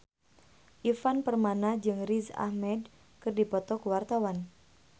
Ivan Permana jeung Riz Ahmed keur dipoto ku wartawan